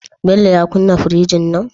Bello ya kunna firjin nan?